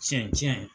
Tiɲɛ tiɲɛ